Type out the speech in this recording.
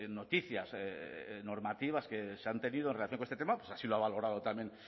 noticias normativas que se han tenido en relación con este tema pues así lo ha valorado también